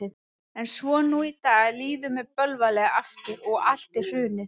En svo nú í dag líður mér bölvanlega aftur og allt er hrunið.